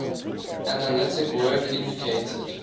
analytic work indicated